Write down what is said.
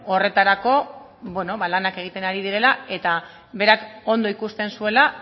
horretarako lanak egiten ari direla eta berak ondo ikusten zuela